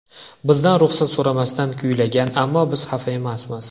Bizdan ruxsat so‘ramasdan kuylagan, ammo biz xafa emasmiz.